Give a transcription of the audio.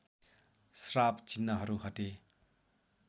श्राप चिन्हहरू हटे